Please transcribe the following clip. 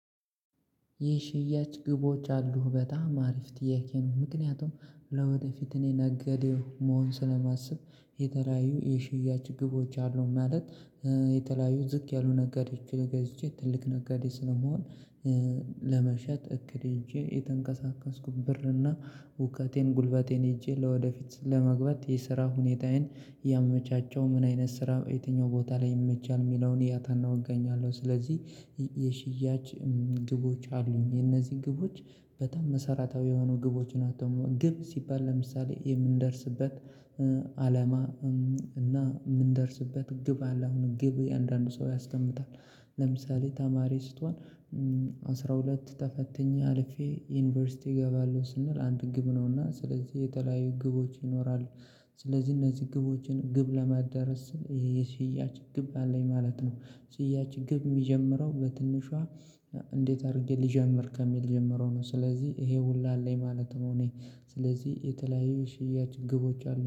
ይህ ሽያጭ ግቦች አሉህ በጣም አሪፍ ጥያቄ ነው። ምክንያቱም ለወደፊት እኔ ነጋዴ መሆን ስለማስብ የተለያዩ የሽያጭ ግቦች አሉ ማለት። የተለያዩ ዝቅ ያሉ ነገዴች ገዝቼ ትልቅ ነጋዴ ስለምሆን። ለመሸጥ እክድ የሄጄ የተንቀሳቀስኩት ብር እና እውቀቴን ጉልበቴን ሄዤ ለወደፊት ለመግባት የስራ ሁኔታዬን ያመቻቸው ምን አይነት ስራ የትኛው ቦታ ላይ ይመቻል የሚለውን እያጠናው እገኛለሁ። ስለዚህ የሽያጭ ግቦች አሉኝ። የነዚህ ግቦች በጣም መሰራታዊ የሆኑ ግቦችን አቶ ግብ ሲባል ለምሳሌ የምንደርስበት አለማ እና የምንደርስበት ግብ አለ። አሁን ግብ የአንዳንድ ሰው ያስቀምጣል ለምሳሌ ተማሪ ስትሆን አስራ ሁለት ተፈትኜ አልፌ ዩኒቨርሲቲ እገባለሁ ስንል አንድ ግብ ነውና። ስለዚህ የተለያዩ ግቦች ይኖራሉ። ስለዚህ እነዚህ ግቦችን ግብ ለማዳረስ ስል ይሄ ስያጭ ግብ አለኝ ማለት ነው። ስያጭ ግብ የሚጀምረው በትንሿ። እንዴት አድርጌ ልጀምር ከሚል ጀምረው ነው። ስለዚህ ይሄ ሁሉ አለኝ ማለት ነው። እኔ ስለዚህ የተለያዩ ሽያጭ ግቦች አሉ